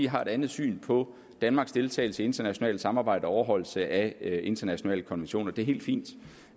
har et andet syn på danmarks deltagelse i internationale samarbejder og overholdelse af internationale konventioner det er helt fint